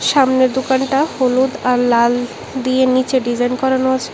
সামনের দোকানটা হলুদ আর লাল দিয়ে নীচে ডিজাইন করানো আছে।